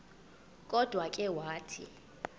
kodwa ke wathi